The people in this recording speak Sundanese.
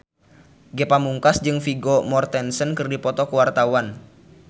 Ge Pamungkas jeung Vigo Mortensen keur dipoto ku wartawan